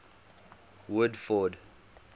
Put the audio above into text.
woodford